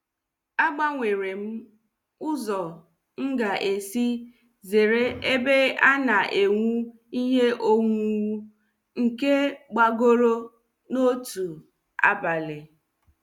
Agbanwere m ụzọ m ga-esi zere ebe a na-ewu ihe owuwu nke gbagoro n'otu abalị.